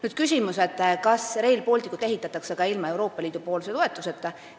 Oli küsimus, kas Rail Baltic ehitataks ka ilma Euroopa Liidu toetuseta.